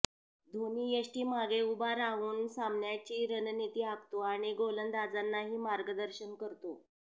धोनी यष्टीमागे उभा राहून सामन्याची रणनिती आखतो आणि गोलंदाजांनाही मार्गदर्शन करतो